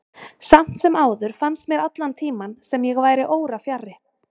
Samt sem áður fannst mér allan tímann sem ég væri órafjarri.